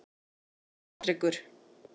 Patrekur